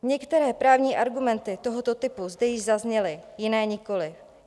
Některé právní argumenty tohoto typu zde již zazněly, jiné nikoliv.